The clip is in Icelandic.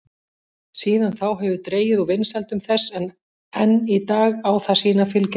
Síðan þá hefur dregið úr vinsældum þess en enn í dag á það sína fylgjendur.